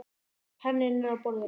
Penninn er á borðinu.